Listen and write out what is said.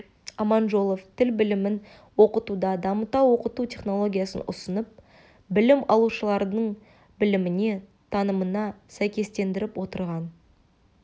аманжолов тіл білімін оқытуда дамыта оқыту технологиясын ұсынып білім алушылардың біліміне танымына сәйкестендіріп отырған